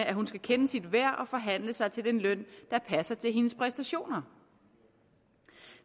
at hun skal kende sit værd og forhandle sig til den løn der passer til hendes præstationer